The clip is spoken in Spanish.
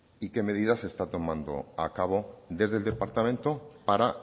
y qué medidas está tomando a cabo desde el departamento para